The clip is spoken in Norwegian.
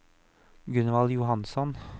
Gunvald Johansson